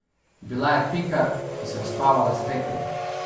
Bila je Pika, ki se je uspavala s petjem.